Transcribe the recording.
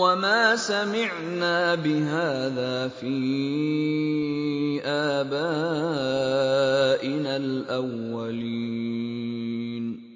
وَمَا سَمِعْنَا بِهَٰذَا فِي آبَائِنَا الْأَوَّلِينَ